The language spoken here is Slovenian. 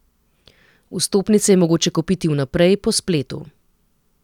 Vstopnice je mogoče kupiti vnaprej, po spletu.